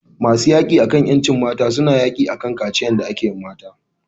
Masu yaki akan ƴancin mata su ne yaki akan kaciyan da ake wa mata.